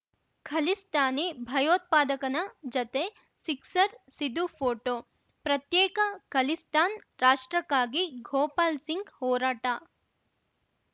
ಖಲಿಸ್ತಾನಿ ಭಯೋತ್ಪಾದಕನ ಜತೆ sixer Sidhu photo ಪ್ರತ್ಯೇಕ ಖಲಿಸ್ತಾನ್‌ ರಾಷ್ಟ್ರಕ್ಕಾಗಿ ಗೋಪಾಲ್‌ ಸಿಂಗ್‌ ಹೋರಾಟ